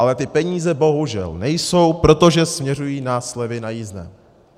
Ale ty peníze bohužel nejsou, protože směřují na slevy na jízdném.